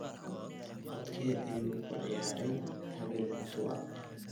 codkee ayuu ku ciyaaray Habel mutua